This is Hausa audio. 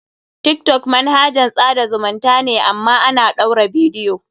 Tiktok manahajan tsada zumunta ne amma ana ɗaura bidiyo.